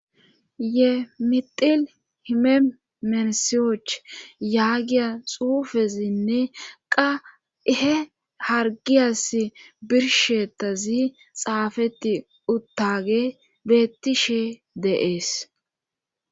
ye mixil hime menisiyoch yaagiya xuufezinne qahe hargiyas birshetazi xaafeti uttage bettishe deees